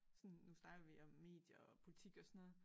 Sådan nu snakker vi om medier og politik og sådan noget